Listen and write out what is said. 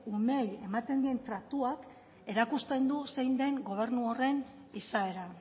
umeei ematen dien tratuak erakusten du zein den gobernu horren izaera